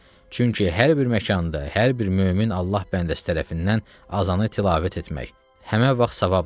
Çünki hər bir məkanda, hər bir mömin Allah bəndəsi tərəfindən azanı tilavət etmək həmən vaxt savabdır.